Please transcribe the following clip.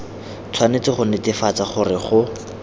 tshwanetse go netefatsa gore go